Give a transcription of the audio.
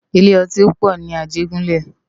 Ilé òtín pò ni Ajegunle